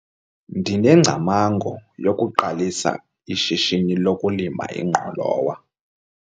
Ndinengcamango yokuqalisa ishishini lokulima ingqolowa.